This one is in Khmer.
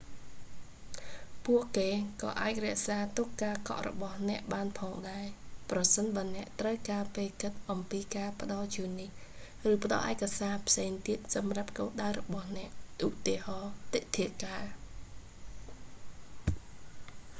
ពួកគេ​ក៏​អាច​រក្សា​ទុក​ការ​កក់​របស់​អ្នក​បាន​ផង​ដែរ​ ប្រសិន​បើ​អ្នក​ត្រូវ​ការ​ពេល​គិត​អំពី​ការ​ផ្ដល់​ជូននេះ​ ឬ​ផ្ដល់​ឯកសារ​ផ្សេង​ទៀត​សម្រាប់​គោលដៅ​របស់​អ្នក​ ឧ.ទា. ទិដ្ឋាការ​​។​